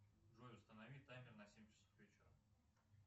джой установи таймер на семь часов вечера